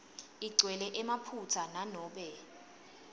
igcwele emaphutsa nanobe